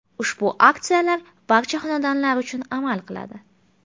Ushbu aksiyalar barcha xonadonlar uchun amal qiladi.